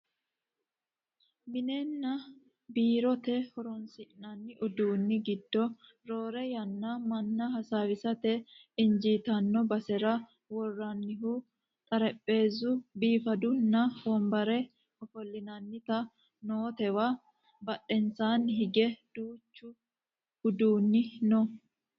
minenna biirote horonsi'nanni uduunni giddo roore yanna manna hasaawisate injiitanno basera worrannihu xarapheezzu biifadunna wonabare ofollinanniti nootewa badhensaanni hige duuchu uduunni no